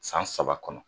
San saba kɔnɔ